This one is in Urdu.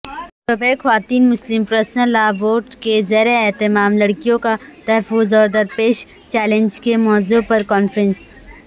شعبہ خواتین مسلم پرسنل لاء بورڈ کے زیراہتمام لڑکیوں کاتحفظ اوردرپیش چیلنجز کے موضوع پرکانفرنس